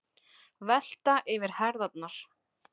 Velta yfir herðarnar.